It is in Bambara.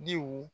Diw